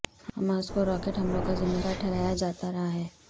Hamas کو rocket حملوں کا ذمہ دار ٹہرایا جاتا رہا ہے